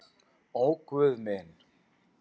Ó Guð minn.